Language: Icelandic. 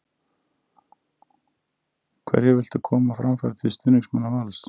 Hverju viltu koma á framfæri til stuðningsmanna Vals?